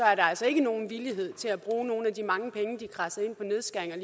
er der altså ikke nogen villighed til at bruge nogle af de mange penge de kradset ind på nedskæringer